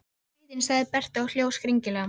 Sú er skrýtin, sagði Berta og hló skringilega.